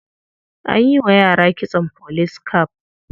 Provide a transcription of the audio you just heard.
An yi wa yara kitson police cap.